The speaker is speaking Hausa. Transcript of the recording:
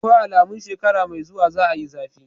Akwai alamun shekara mai zuwa za a yi zafi.